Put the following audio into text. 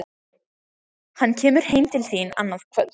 Hann kemur heim til þín annað kvöld